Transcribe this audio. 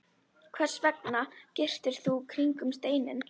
Hvers vegna girtir þú kringum steininn?